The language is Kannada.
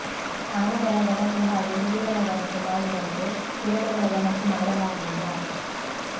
ಆನೆಗಳ ಗಣತಿ ಹಾಗು ಹುಲಿಗಳ ಗಣತಿ ಮಾಡಿದಂತೆ ಚಿರತೆಗಳ ಗಣತಿ ಮಾಡಲಾಗಿಲ್ಲ